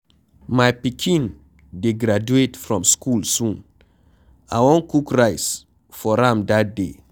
My pikin dey graduate from school soon,I wan cook rice for am dat day.